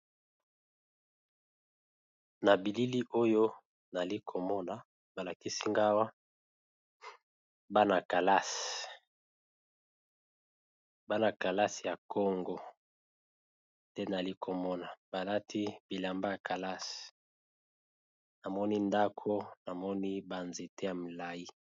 Na bilili oyo nayali komona ba lakisi nga awa bana kelasi ya congo te nayali komona balati bilamba ya kelasi namoni ndako namoni banzete ya milai.